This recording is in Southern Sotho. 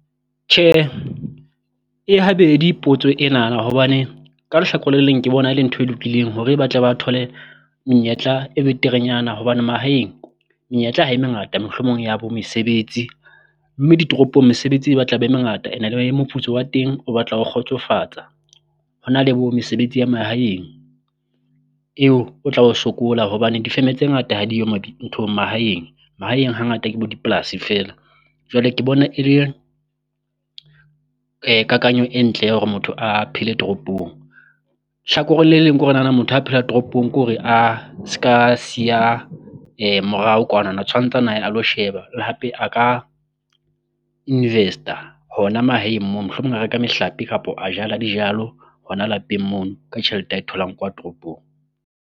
Tjhe e habedi potso enana hobane ka lehlakore le leng ke bona e le ntho e lokileng hore ba tle ba thole menyetla e beterenyana, hobane mahaeng menyetla ha e mengata mohlomong ya bo mesebetsi. Mme ditoropong mesebetsi e batla be mengata and-e le moputso wa teng o batla o kgotsofatsa, ho na le bo mesebetsi ya mahaeng eo o tla o sokola hobane difeme tse ngata ha diyo nthong mahaeng. Mahaeng hangata ke bo dipolasi feela jwale ke bona e le kakanyo e ntle ya hore motho a phele toropong, tjhakoreng le leng ke hore nana motho ha phela toropong, ke hore a ska siya morao kwanana tshwantse a na ye a lo sheba, le hape a ka invest-a ho na mahaeng moo mohlomong a reka mehlape kapo a jala dijalo ho na lapeng mono ka tjhelete a e tholang kwa toropong.